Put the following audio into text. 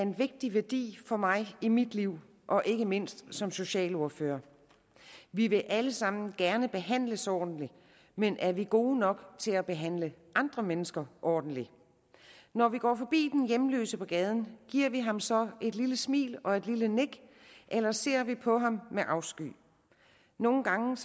en vigtig værdi for mig i mit liv og ikke mindst som socialordfører vi vil alle sammen gerne behandles ordentligt men er vi gode nok til at behandle andre mennesker ordentligt når vi går forbi den hjemløse på gaden giver vi ham så et lille smil og et lille nik eller ser vi på ham med afsky nogle gange